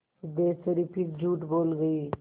सिद्धेश्वरी फिर झूठ बोल गई